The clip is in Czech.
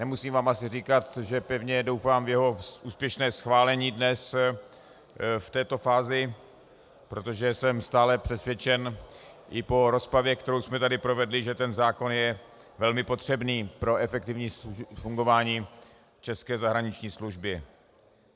Nemusím vám asi říkat, že pevně doufám v jeho úspěšné schválení dnes v této fázi, protože jsem stále přesvědčen, i po rozpravě, kterou jsme tady provedli, že ten zákon je velmi potřebný pro efektivní fungování české zahraniční služby.